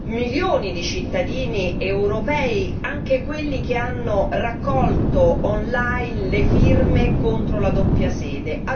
milioni di cittadini europei, anche quelli che hanno raccolto online le firme contro la doppia sede.